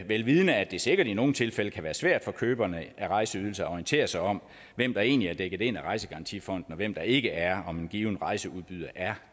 vel vidende at det sikkert i nogle tilfælde kan være svært for køberne af rejseydelser at orientere sig om hvem der egentlig er dækket ind af rejsegarantifonden og hvem der ikke er om en given rejseudbyder er